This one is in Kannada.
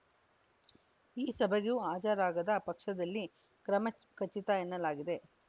ಈ ಸಭೆಗೂ ಹಾಜರಾಗದ ಪಕ್ಷದಲ್ಲಿ ಕ್ರಮ ಖಚಿತ ಎನ್ನಲಾಗಿದೆ